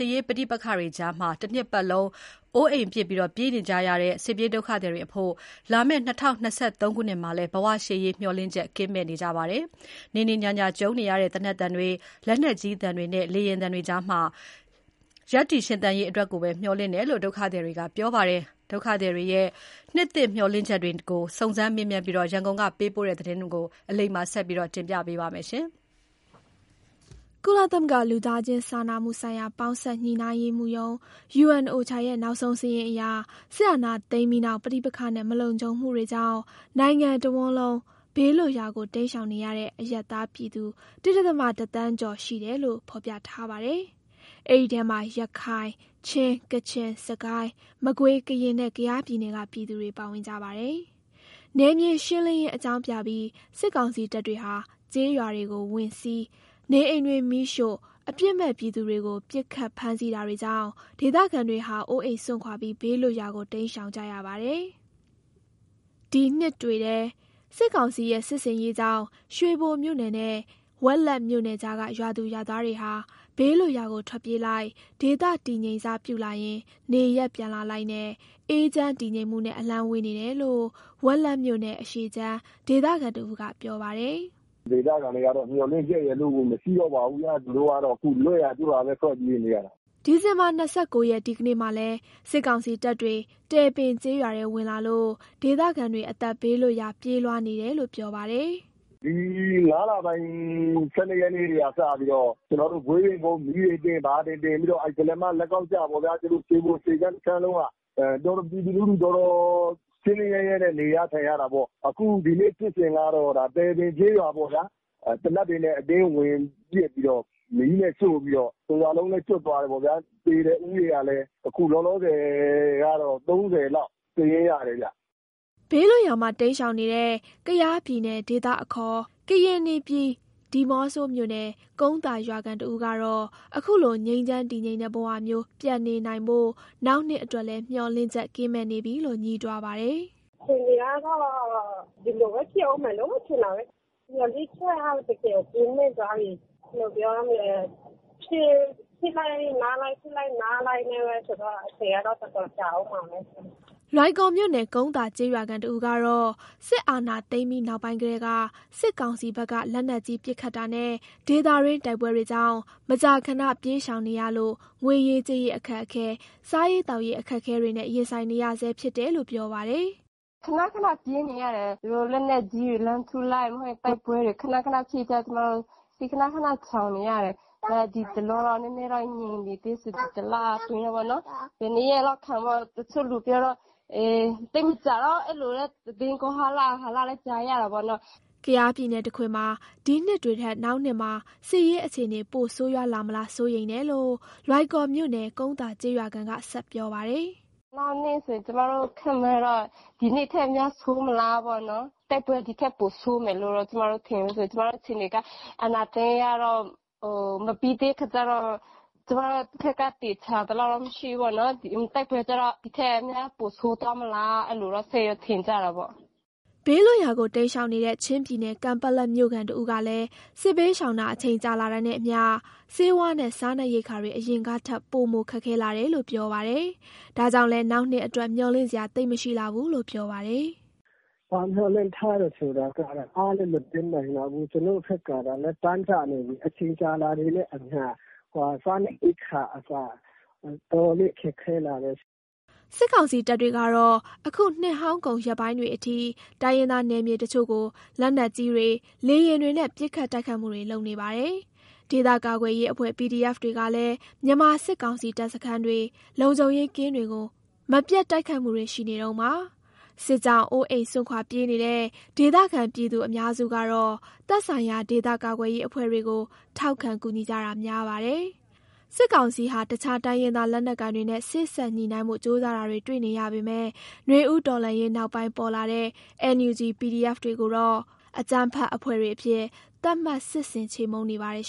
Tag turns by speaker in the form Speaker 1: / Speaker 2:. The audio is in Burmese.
Speaker 1: ေးပဋိပက္ခတွေကြားမှာ တနှစ်ပတ်လုံး အိုးအိမ်စွန့်ခွာပြေးနေရတဲ့ စစ်ပြေးဒုက္ခသည်တွေအဖို့ လာမယ့် ၂၀၂၃ ခုနှစ်မှာလည်း ဘဝရှေ့ရေး မျှော်လင့်ချက်ကင်းမဲ့နေကြပါတယ်။ နေ့နေ့ညညကြုံနေရတဲ့ သေနက်သံတွေ၊ လက်နက်ကြီးသံတွေနဲ့ လေယာဉ်သံတွေကြားမှာ ရပ်တည်ရှင်သန်ရေးအတွက်ကိုပဲ မျှော်လင့်တယ်လို့ ဒုက္ခသည်တွေက ပြောပါတယ်။ စစ်ပြေးဒုက္ခသည်တွေရဲ့ နှစ်သစ်မျှော်လင့်ချက်တွေကို စုံစမ်းမေးမြန်းပြီး ရန်ကုန်ကပေးပို့တဲ့သတင်းကို အလိမ္မာက တင်ပြပေးထားပါတယ်။ ကုလသမဂ္ဂ လူသားချင်းစာနာမှုဆိုင်ရာပေါင်းစပ် ညှိနှိုင်းရေးမှူးရုံး (UN OCHA) ရဲ့ နောက်ဆုံးစာရင်းအရ စစ်အာဏာသိမ်းပြီးနောက် ပဋိပက္ခနဲ့ မလုံခြုံမှုတွေကြောင့် နိုင်ငံတဝန်းမှာ ဘေးလွတ်ရာကို တိမ်းရှောင်နေရတဲ့ အရပ်သားပြည်သူ ၁.၁ သန်းကျော် ရှိတယ်လို့ ဖော်ပြထားပါတယ်။ အဲဒီအထဲမှာ ရခိုင်၊ ချင်း၊ ကချင်၊ စစ်ကိုင်း၊ မကွေး၊ ကရင်နဲ့ ကယားပြည်နယ်က ပြည်သူတွေ ပါဝင်ကြပါတယ်။ နယ်မြေရှင်းလင်းရေးအကြောင်းပြပြီး စစ်ကောင်စီတပ်တွေဟာ ကျေးရွာတွေကိုဝင်စီး၊ နေအိမ်တွေမီးရှို့၊ အပြစ်မဲ့ပြည်သူတွေကို ပစ်ခတ်ဖမ်းဆီးတာတွေကြောင့် ဒေသခံတွေဟာ အိုးအိမ်စွန့်ခွာပြီး ဘေးလွတ်ရာကို တိမ်းရှောင်ကြရတာပါ။ ဒီနှစ်တွေထဲ စစ်ကောင်စီရဲ့စစ်ဆင်ရေးကြောင့် ရွှေဘိုမြို့နယ်နဲ့ ဝက်လက်မြို့နယ်ကြားက ရွာသူရွာသားတွေဟာ ဘေးလွတ်ရာကို ထွက်ပြေးလိုက်၊ ဒေသတည်ငြိမ်စပြုလာရင် နေရပ်ပြန်လာလိုက်နဲ့ အေးချမ်းတည်ငြိမ်မှုနဲ့ အလှမ်းဝေးနေတယ်လို့ ဝက်လက်မြို့နယ် အရှေ့ခြမ်း ဒေသခံတဦးက ပြောပါတယ်။
Speaker 2: “ဒေသခံတွေကတော့ မျှော်လင့်ချက်ရယ်လို့ကို မရှိတော့ပါဘူးဗျာ။ သူတို့ကတော့ ခု လွတ်ရာကျွတ်ရာပဲ ထွက်ပြေးနေရတယ်
Speaker 1: ။” ဒီဇင်ဘာ ၂၉ ရက် ဒီကနေ့မှာလည်း စစ်ကောင်စီတပ်တွေ တယ်ပင်ကျေးရွာထဲဝင်လာလို့ ဒေသခံတွေ အသက်ဘေးလွတ်ရာ ပြေးလွှားနေတယ်လို့ ပြောပါတယ်။
Speaker 2: “ဒီ ၅ လပိုင်း ၁၂ ရက်နေ့ကစပြီးတော့ ကျနော်တို့ ဂွေးပင်ကုန်းကို မီးတွေတင်၊ ဘာတွေတင်ပြီးတော့ အဲ့ ကုလားမ လက်ကောက်ကျပေါ့ဗျာ သူတို့ ရွှေပိုအရှေ့ခြမ်းတခြမ်းလုံးက ပြည်သူလူထုက တော်တော်ဆင်းဆင်းရဲရဲနဲ့ နေရထိုင်ရတာပေါ့။ အခု ဒီနေ့ဖြစ်စဉ်ကတော့ တယ်ပင်ကျေးရွာပေါ့ဗျာ၊ သေနတ်တွေနဲ့ အတင်းဝင်ပစ်ပြီးတော့၊ မီးနဲ့ရှို့ပြီးတော့ တရွာလုံးလည်း ကျွတ်သွားတယ်ပေါ့ဗျာ သေတဲ့ ဦးရေကလည်း အခု လောလောဆယ်ကတော့ ၃၀ လောက် စာရင်းရတယ်ဗျ။”
Speaker 1: ဘေးလွတ်ရာမှာ တိမ်းရှောင်နေတဲ့ ကယားပြည်နယ် ဒေသခံအခေါ် ကရင်နီပြည် ဒီးမော့ဆိုမြို့နယ် ကုန်းသာရွာခံ တဦးကတော့ အရင်လို ငြိမ်းချမ်းတည်ငြိမ်တဲ့ဘဝမျိုး ပြန်နေနိုင်ဖို့ နောက်နှစ်အတွက်လည်း မျှော်လင့်ချက်ကင်းမဲ့နေပြီလို့ ငြီးတွားပါတယ်။ “အခြေအနေကတော့ ဒီလိုပဲ ဖြစ်အုံးမယ်လို့ ထင်တာပဲ။ မျှော်လင့်ချက်က
Speaker 2: တကယ်ကင်းမဲ့သွားပြီ
Speaker 1: ။ ဘယ်လိုပြောရမလဲ။ စစ
Speaker 2: ်ဖြစ်လိုက်။ နားလိုက်နဲ့ပဲဆိုတော့ အချိန်ကတော့ တော်တော်ကြာအုံးမှာပဲ။”
Speaker 1: လွိုင်ကော်မြို့နယ် ကုန်းသာကျေးရွာခံတဦးကတော့ စစ်အာဏာသိမ်းပြီးနောက်ပိုင်းကတည်းက စစ်ကောင်စီဘက်က လက်နက်ကြီးပစ်ခတ်တာနဲ့ ဒေသတွင်းတိုက်ပွဲတွေကြောင့် မကြာခဏ ပြေးရှောင်ရနေရလို့ ငွေရေးကြေးရေးအခက်အခဲ၊ စားရေးသောက်ရေးအခက်အခဲတွေနဲ့ ရင်ဆိုင်နေရဆဲဖြစ်တယ်လို့ ပြောပါတယ်။ “ခဏခဏ ပြေးနေရတယ်။ သူတို့လက်နက်ကြီးတွေ လှမ်းထုလိုက်၊ မဟုတ်ရင် တိုက်ပွဲတွေ ခဏခဏဖြ
Speaker 2: စ်ကြ ကျမတို့ ခဏခဏရှောင်နေရတယ်။ ဒီတလောတော့ နည်းနည်းတော့ ငြိမ်နေသေးဆို ဒ
Speaker 1: ီတလအတွင်းပေါ့နော်၊ ဘယ်နှစ်ရက်လောက်ခံမလဲပေါ့ တချို့လူပြောတော့ သိပ်မကြာတော့ အဲ့လိုလည်း သတင်းကောလာဟလလည်း ကြားရတာပေ့ါနော့်။” ကယားပြည်နယ်တခွင်မှာ ဒီနှစ်တွေထက် နောက်နှစ်မှာ စစ်ရေးအခြေအနေ ပိုဆိုးရွားလာမလား စိုးရိမ်တယ်လို့ လွိုင်ကော်မြို့နယ် ကုန်းသာကျေးရွာခံက ဆက်ပြောပါတယ်။ “နောက်ဆို ကျမတို့ ခန့်မှန်းတော့
Speaker 2: ဒီနှစ်ထက်များဆိုးမလားပေါ့နော်။ တိုက်ပွဲ ဒီထက်ပိုဆိုးမယ်လို့တော့ ကျမတို့ထင်တယ်။ ကျမတို့ အခြေအနေက အာဏာသိမ်းကတော့ မပြီးသေးခါကျတော့ ကျမတို့ဖက်က သေချာသလောက်မရှိဘူးပေါ့နော်။ တိုက်ပွဲကျတော့ ဒီထက်များပိုဆိုးသွားမလား။ အဲ့လိုတော့ စိတ်တော့ ထင့်ကြတာပေါ့။
Speaker 1: ” ဘေးလွတ်ရာမှာ တိမ်းရှောင်နေတဲ့ ချင်းပြည်နယ် ကန်ပက်လက်မြို့ခံတဦးကလည်း စစ်ဘေးရှောင်တာ အချိန်ကြာတာနဲ့အမျှ ဆေးဝါးနဲ့ စားနပ်ရိက္ခာတွေ အရင်ကထက် ပိုမိုခက်ခဲလာတယ်လို့ ပြောပါတယ်။ ဒါကြောင့်လည်း နောက်နှစ်အတွက် မျှော်လင့်စရာသိပ်မရှိလှဘူးလို့ ပြောပါတယ်။
Speaker 2: “ဘာမျှော်လင့်ထားလဲဆိုတာကတော့ အားလည်းမတင်းနိုင်တော့ဘူး။ ကျနော်တို့ဘက်ကလည်း တမ်းတနေပြီး အချိန်ကြာလာတာနဲ့အမျှ စားနပ်ရိက္ခာအစ တော်တော်လေး ခက်ခဲလာတယ်။”
Speaker 1: စစ်ကောင်စီတပ်တွေကတော့ အခု နှစ်ဟောင်းကုန်ရက်ပိုင်းတွေအထိ တိုင်းရင်းသားနယ်မြေတချို့ကို လက်နက်ကြီးတွေ လေယာဉ်တွေနဲ့ ပစ်ခတ်တိုက်ခိုက်နေပါတယ်။ ဒေသကာကွယ်ရေးအဖွဲ့ PDF တွေကလည်း မြန်မာစစ်ကောင်စီတပ်စခန်းတွေ လုံခြုံရေးကင်းတွေကို မပြတ်တိုက်ခိုက်နေတုန်းပါ။ စစ်ကြောင့် အိုးအိမ်စွန့်ခွာပြေးနေတဲ့ ဒေသခံပြည်သူအများစုကတော့ သက်ဆိုင်ရာ ဒေသကာကွယ်ရေးအဖွဲ့တွေကို ထောက်ခံ ကူညီကြတာများပါတယ်။ စစ်ကောင်စီဟာ တခြားတိုင်းရင်းသားလက်နက်ကိုင်တွေနဲ့ စေ့စပ်ညှိနှိုင်းဖို့ကြိုးစားတာတွေ တွေ့နေရပေမယ့် နွေဦးတော်လှန်ရေးနောက်ပိုင်းပေါ်လာတဲ့ NUG/ PDF တွေကိုတော့ အကြမ်းဖက်အဖွဲ့တွေအဖြစ် သတ်မှတ် စစ်ဆင်ချေမှုန်းနေပါတယ်